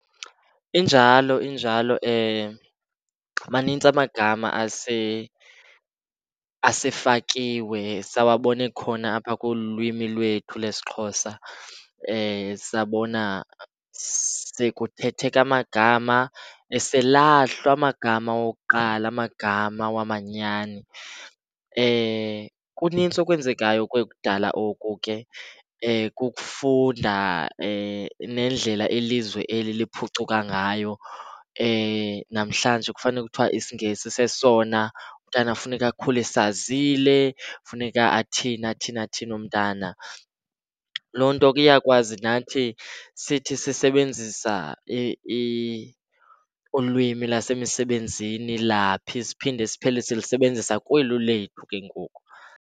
Injalo, injalo manintsi amagama asefakiwe sawabona ekhona apha kolu lwimi lwethu lesiXhosa. Sabona sekuthetheka amagama eselahlwa amagama wokuqala amagama wamanyani. Kunintsi okwenzekayo okudala oku ke kukufunda nendlela ilizwe eliphucuka ngayo. Namhlanje kufane kuthiwa isiNgesi sesona umntana funeka akhule esazile, funeka athini athini athini umntana. Loo nto ke iyakwazi nathi sithi sisebenzisa ulwimi lasemisebenzini laphi siphinde siphele silisebenzisa kweli lethu ke ngoku.